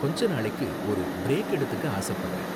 கொஞ்ச நாளைக்கு ஒரு பிரேக் எடுத்துக்க ஆசப்படறேன்.